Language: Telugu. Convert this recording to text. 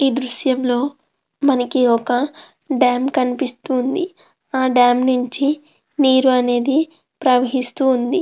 ఈ దృశ్యం లో మనకి ఒక డామ్ కనిపిస్తుంది. ఆ డామ్ నుంచి నీరు అనేది ప్రవహిస్తూ వుంది.